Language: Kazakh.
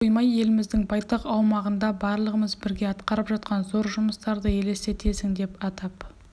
көз жүгіртіп қоймай еліміздің байтақ аумағында барлығымыз бірге атқарып жатқан зор жұмыстарды елестетесің деп атап